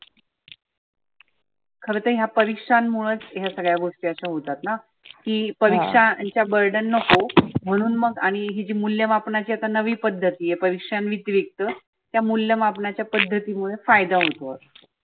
खर तर ह्या परिक्षांन मुळच ह्या सगळ्या गोष्टी अशा होतातना. की परिक्षाच burden नको म्हणून मग आणि ही जे मुल्य मापणाची आता नवी पध्दत ह्या प्रिक्षां व्यतरिक्त त्या मुल्य मापनाच्या पद्धतीमुळ फायदा होतो.